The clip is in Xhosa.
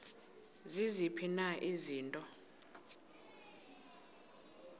ziziphi na izinto